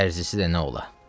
Dərzisi də nə ola.